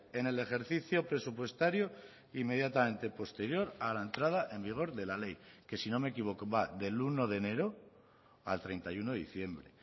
en el ejercicio presupuestario inmediatamente posterior a la entrada en vigor de la ley que si no me equivoco va del uno de enero al treinta y uno de diciembre